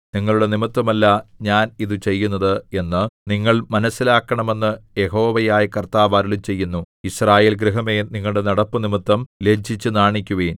നിങ്ങളുടെ നിമിത്തമല്ല ഞാൻ ഇതു ചെയ്യുന്നത് എന്ന് നിങ്ങൾ മനസ്സിലാക്കണമെന്ന് യഹോവയായ കർത്താവ് അരുളിച്ചെയ്യുന്നു യിസ്രായേൽ ഗൃഹമേ നിങ്ങളുടെ നടപ്പുനിമിത്തം ലജ്ജിച്ചു നാണിക്കുവിൻ